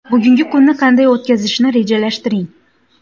Bugungi kunni qanday o‘tkazishni rejalashtiring.